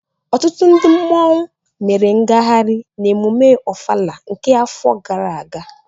ọtụtụ ndị mmanwụ mere ngagharị n'emume Ọfala nke afọ gara aga